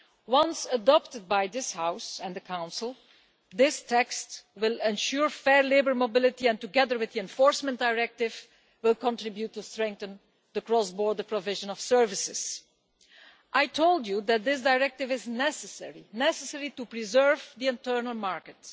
Once adopted by this House and the Council, this text will ensure fair labour mobility and, together with the Enforcement Directive, will contribute to strengthening the cross border provision of services. I told you that this Directive is necessary to preserve the internal market.